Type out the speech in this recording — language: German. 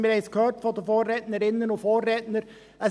Wir haben es von den Vorrednerinnen und Vorrednern gehört: